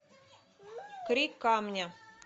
крик камня